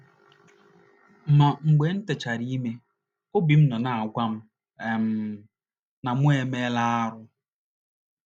Ma, mgbe m techara ime, obi m nọ na - agwa m um na mụ emeela arụ. ”